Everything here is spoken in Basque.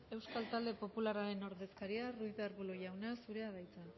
euskal talde popularraren ordezkaria ruiz de arbulo jauna zurea da hitza